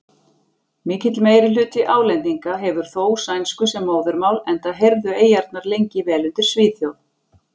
Mikill meirihluti Álendinga hefur þó sænsku sem móðurmál enda heyrðu eyjarnar lengi vel undir Svíþjóð.